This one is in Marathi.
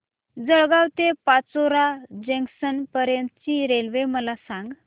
जळगाव ते पाचोरा जंक्शन पर्यंतची रेल्वे मला सांग